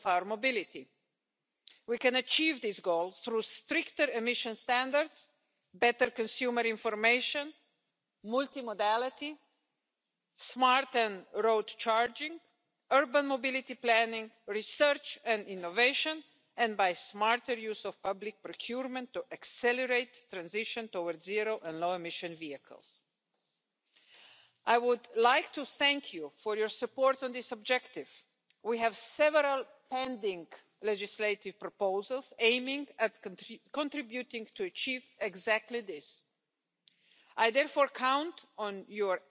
and equal access to data, liability and ethical implications, integration of automated vehicles into existing traffic, public acceptance, global standard settings, and many more. This is why we proposed to bundle all efforts and create a single platform, the Connected and Automated Mobility where all stakeholders